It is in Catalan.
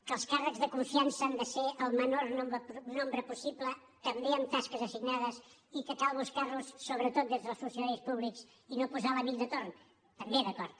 que els càrrecs de confiança han de ser el menor nombre possible també en tasques assignades i que cal buscar los sobretot des dels funcionaris públics i no posar l’amic de torn també d’acord